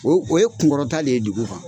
O o ye kun kɔrɔta le ye dugu kan.